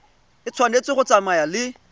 e tshwanetse go tsamaya le